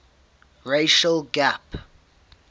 racial gap